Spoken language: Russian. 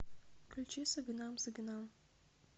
включи сагынам сагынам